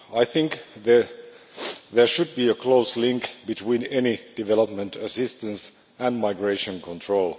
I think there should be a close link between any development assistance and migration control.